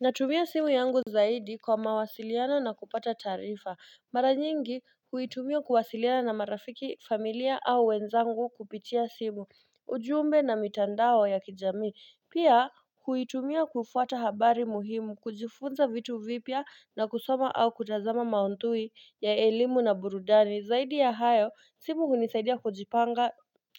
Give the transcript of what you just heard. Natumia simu yangu zaidi kwa mawasiliano na kupata taarifa. Mara nyingi huitumia kuwasiliana na marafiki, familia au wenzangu kupitia simu ujumbe na mitandao ya kijamii. Pia huitumia kufuata habari muhimu, kujifunza vitu vipya na kusoma au kutazama maudhui ya elimu na burudani Zaidi ya hayo, simu hunisaidia kujipanga